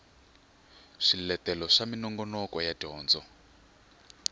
swiletelo swa minongoloko ya dyondzo